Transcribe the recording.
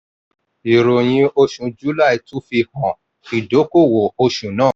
ìròyìn oṣù july tún fi hàn ìdókòwò oṣù náà.